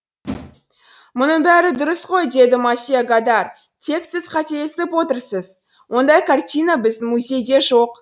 мұның бәрі дұрыс қой деді мосье годар тек сіз қателесіп отырсыз ондай картина біздің музейде жоқ